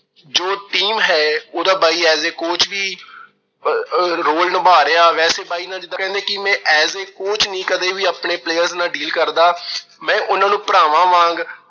ਜੋ team ਹੈ, ਉਹਦਾ ਬਾਈ as a coach ਵੀ ਆਹ role ਨਿਭਾ ਰਿਹਾ, ਵੈਸੇ ਬਾਈ ਜਿਵੇਂ ਕੀ ਕਹਿੰਦੇ ਵੀ ਮੈਂ as a coach ਨੀਂ ਕਦੇ ਵੀ ਆਪਣੇ player ਨਾਲ deal ਕਰਦਾ। ਮੈਂ ਉਹਨਾਂ ਨੂੰ ਭਰਾਵਾਂ ਵਾਂਗ